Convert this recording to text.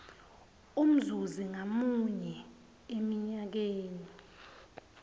umzuzi ngamunye eminyakeni